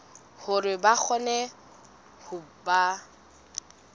hore ba kgone ho ba